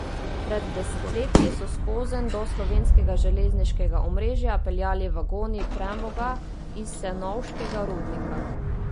Pred desetletji so skozenj do slovenskega železniškega omrežja peljali vagoni premoga iz senovškega rudnika.